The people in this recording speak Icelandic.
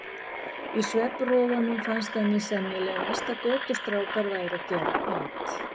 Í svefnrofunum fannst henni sennilegast að götustrákar væru að gera at.